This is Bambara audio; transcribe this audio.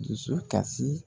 Dusu kasi.